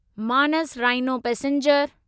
Manas rhino passenger